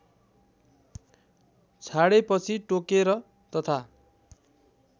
छाडेपछि टोकेर तथा